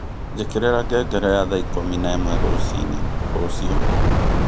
njikĩrira ngengere ya thaa ikũmi na ĩmwe rũcinĩ rũciũ